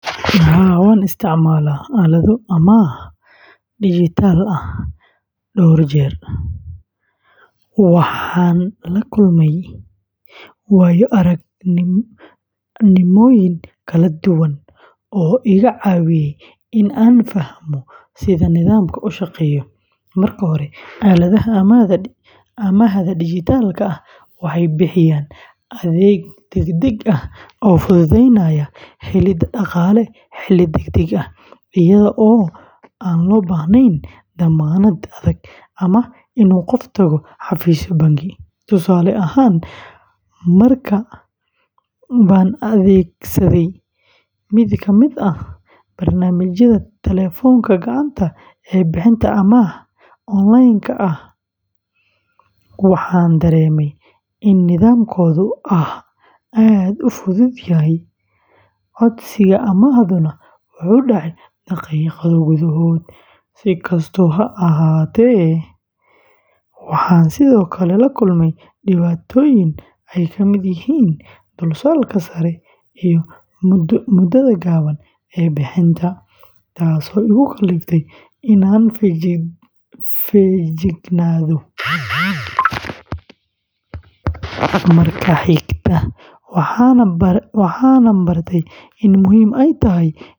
Haa, waan isticmaashay aalado amaah dijitaal ah dhowr jeer, waxaana la kulmay waayo-aragnimooyin kala duwan oo iga caawiyay in aan fahmo sida nidaamkan u shaqeeyo. Marka hore, aaladaha amaahda dijitaalka ah waxay bixiyaan adeeg degdeg ah oo fududeynaya helidda dhaqaale xilli degdeg ah, iyada oo aan loo baahnayn dammaanad adag ama in qofku tago xafiisyo bangi. Tusaale ahaan, mar baan adeegsaday mid ka mid ah barnaamijyada telefoonka gacanta ee bixiya amaah online ah, waxaana dareemay in nidaamkoodu aad u fudud yahay, codsiga amaahduna wuxuu dhacay daqiiqado gudahood. Si kastaba ha ahaatee, waxaan sidoo kale la kulmay dhibaatooyin ay ka mid yihiin dulsaarka sare iyo muddada gaaban ee bixinta, taasoo igu kalliftay in aan feejignaado marka xiga. Waxaan baray in muhiim ay tahay.